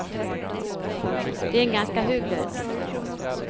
Det är en ganska hög lön.